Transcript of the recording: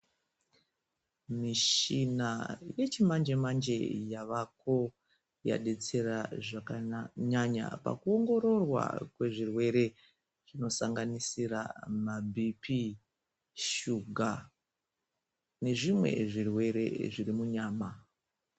Mishina yechimanje manje yavako yadetsera zvakanyanya pakuongororwa kwezvirwere zvinosanganisira mabhipi, shuga nezvimwe zvirwere zviri munyama.